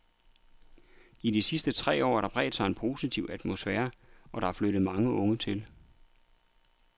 I de sidste tre år har der bredt sig en positiv atmosfære, og der er flyttet mange unge til.